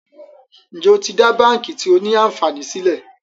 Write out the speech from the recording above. Njé o tí dá bánkì tio ní ànfàní sílè?